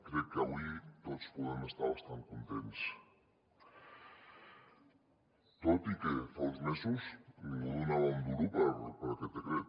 crec que avui tots podem estar bastant contents tot i que fa uns mesos ningú donava un duro per aquest decret